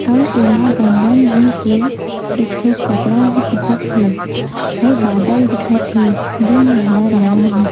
अऊ एमा बंदन रंग के एक ठो कपड़ा भी दिखत हे अऊ बादल दिखत हे जेन नीला रंग मे हे ।